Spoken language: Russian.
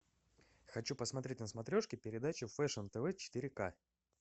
хочу посмотреть на смотрешке передачу фэшн тв четыре к